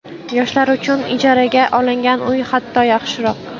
Yoshlar uchun ijaraga olingan uy hatto, yaxshiroq.